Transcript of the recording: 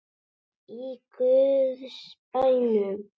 Í guðs bænum.